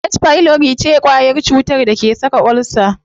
H pylori ce kwayar cutar da ke saka ulcer.